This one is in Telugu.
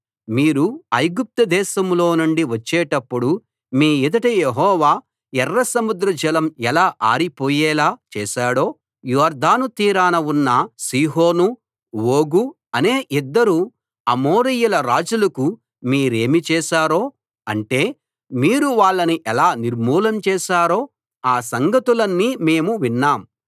మీరు ఐగుప్తు దేశంలో నుండి వచ్చేటప్పుడు మీ ఎదుట యెహోవా ఎర్ర సముద్రజలం ఎలా ఆరిపోయేలా చేశాడో యొర్దాను తీరాన ఉన్న సీహోను ఓగు అనే ఇద్దరు అమోరీయ రాజులకు మీరేమి చేశారో అంటే మీరు వాళ్ళని ఎలా నిర్మూలం చేశారో ఆ సంగతులన్నీ మేము విన్నాం